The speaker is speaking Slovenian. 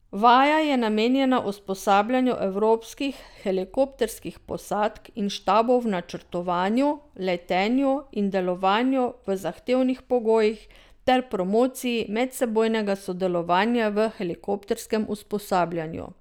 Vaja je namenjena usposabljanju evropskih helikopterskih posadk in štabov v načrtovanju, letenju in delovanju v zahtevnih pogojih ter promociji medsebojnega sodelovanja v helikopterskem usposabljanju.